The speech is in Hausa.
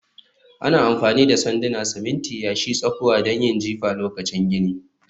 Ana amfani da sanduna, siminti, yashi, tsakuwa don yin jifa lokacin gini